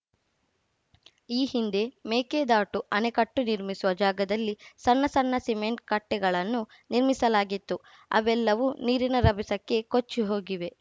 ಈ ಹಿಂದೆ ಮೇಕೆದಾಟು ಅಣೆಕಟ್ಟೆನಿರ್ಮಿಸುವ ಜಾಗದಲ್ಲಿ ಸಣ್ಣ ಸಣ್ಣ ಸಿಮೆಂಟ್‌ ಕಟ್ಟೆಗಳನ್ನು ನಿರ್ಮಿಸಲಾಗಿತ್ತು ಅವೆಲ್ಲವೂ ನೀರಿನ ರಭಸಕ್ಕೆ ಕೊಚ್ಚಿ ಹೋಗಿವೆ